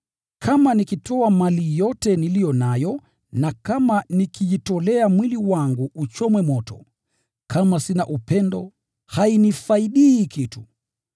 Kama nikitoa mali yote niliyo nayo na kama nikijitolea mwili wangu uchomwe moto, kama sina upendo, hainifaidi kitu.